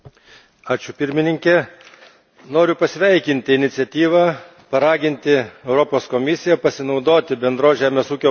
Noriu pasveikinti iniciatyvą, paraginti Europos Komisiją pasinaudoti bendros žemės ūkio politikos supaprastinimo procesu.